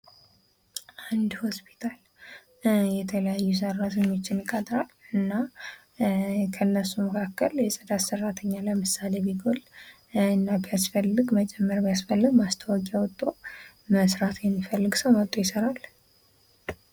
አንድ ሆስፒታል የተለያዩ ሰራተኞችን ይቀጥራል። እና ከነሱ መካከል ለምሳሌ የጽዳት ሰራተኛ ቢጎል እና ቢያስፈልግ መጨመር ቢያስፈልግ ማስታወቂያ አውጥቶ መስራት የሚፈልግ ሰው መጥቶ ይሰራል።